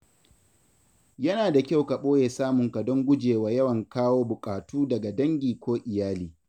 Yana da kyau ka ɓoye samunka don gujewa yawan kawo buƙatu daga dangi ko iyali.